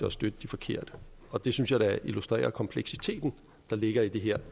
at støtte de forkerte det synes jeg da illustrerer kompleksiteten der ligger i det her